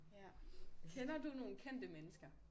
Ja. Kender du nogen kendte mennesker?